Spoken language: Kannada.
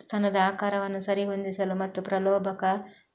ಸ್ತನದ ಆಕಾರವನ್ನು ಸರಿಹೊಂದಿಸಲು ಮತ್ತು ಪ್ರಲೋಭಕ